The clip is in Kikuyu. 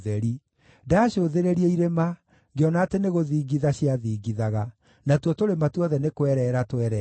Ndaacũthĩrĩria irĩma, ngĩona atĩ nĩgũthingitha ciathingithaga; natuo tũrĩma tuothe nĩ kwereera twereeraga.